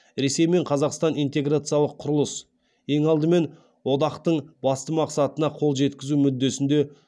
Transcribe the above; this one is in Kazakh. ресей мен қазақстан интеграциялық құрылыс ең алдымен одақтың басты мақсатына қол жеткізу мүддесінде